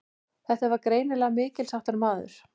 Þetta var greinilega mikilsháttar maður.